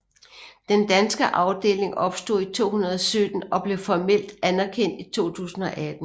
Den danske afdeling opstod i 2017 og blev formelt anerkendt i 2018